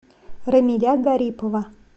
рамиля гарипова